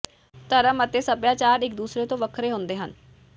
ਧਰਮ ਅਤੇ ਸੱਭਿਆਚਾਰ ਇੱਕ ਦੂਸਰੇ ਤੋਂ ਵੱਖਰੇ ਹੁੰਦੇ ਹਨ